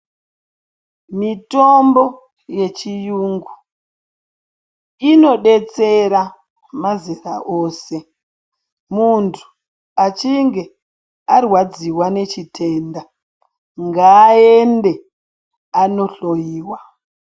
Mitombo yechirungu inodetsera mazera ose muntu achinge arwadziwa nechitenda ngaende andohloiwa.